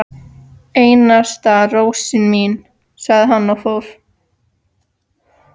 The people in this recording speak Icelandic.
Einasta rósin mín, sagði hann og fór.